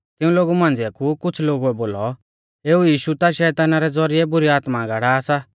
तिऊं लोगु मांझ़िया कु कुछ़ लोगुऐ बोलौ एऊ यीशु ता शैताना रै ज़ौरिऐ बुरी आत्माऐं गाड़ा सा